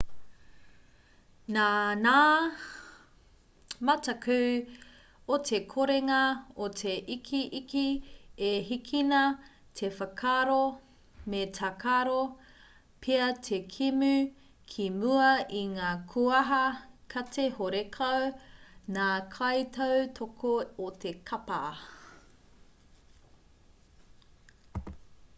nā ngā mataku o te korenga o te ikiiki i hīkina te whakaaro me tākaro pea te kēmu ki mua i ngā kūaha kati horekau ngā kaitautoko o te kapa